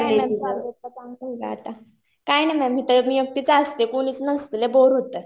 काही नाही. काम चाललं आता. काही नाही मॅम. इथं मी एकटीच असते. कुणीच नसतं. लै बोर होतं.